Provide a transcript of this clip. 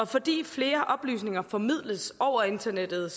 fordi flere oplysninger formidles over internettet